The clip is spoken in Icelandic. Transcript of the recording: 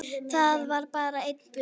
Það var bara einn busi!